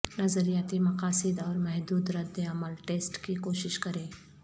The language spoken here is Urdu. نظریاتی مقاصد اور محدود رد عمل ٹیسٹ کی کوشش کریں